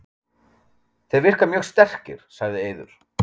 Þeir virka mjög sterkir, sagði Eiður.